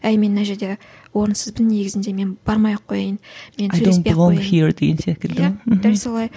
әй мен мына жерде орынсызбын негізінде мен бармай ақ қояйын мен сөйлеспей ақ қояйын иә дәл солай